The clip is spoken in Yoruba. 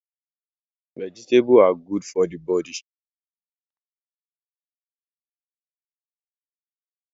Vegetables are godo for the body